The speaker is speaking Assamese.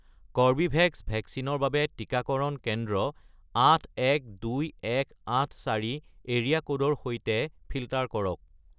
কৰ্বীভেক্স ভেকচিনৰ বাবে টিকাকৰণ কেন্দ্ৰ 812184 এৰিয়া ক'ডৰ সৈতে ফিল্টাৰ কৰক